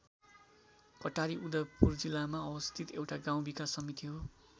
कटारी उदयपुर जिल्लामा अवस्थित एउटा गाउँ विकास समिति हो।